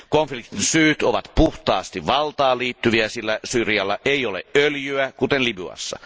Konfliktin syyt ovat puhtaasti valtaan liittyviä, sillä Syyrialla ei ole öljyä, kuten Libyassa.